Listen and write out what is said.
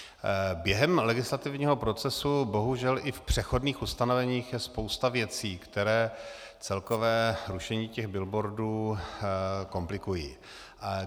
Během legislativního procesu bohužel i v přechodných ustanoveních je spousta věcí, které celkové rušení těch billboardů komplikují.